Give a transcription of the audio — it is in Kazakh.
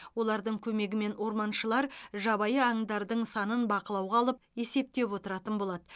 олардың көмегімен орманшылар жабайы аңдардың санын бақылауға алып есептеп отыратын болады